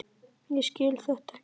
Ég skil þetta ekki!